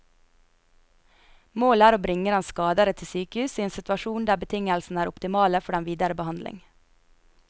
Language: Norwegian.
Målet er å bringe den skadede til sykehus i en situasjon der betingelsene er optimale for den videre behandling.